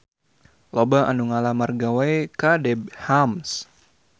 Loba anu ngalamar gawe ka Debenhams